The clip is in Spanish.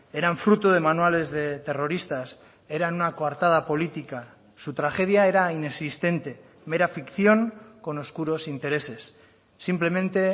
eran fruto de manuales de terroristas eran una coartada política su tragedia era inexistente mera ficción con oscuros intereses simplemente